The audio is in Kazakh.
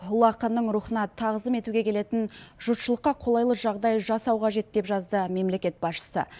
ұлы ақынның рухына тағзым етуге келетін жұртшылыққа қолайлы жағдай жасау қажет деп жазды мемлекет басшысы